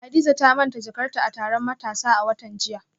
Hadiza ta manta jakarta a taron matasa a watan jiya